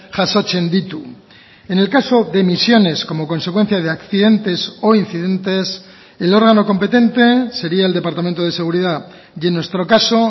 jasotzen ditu en el caso de emisiones como consecuencia de accidentes o incidentes el órgano competente sería el departamento de seguridad y en nuestro caso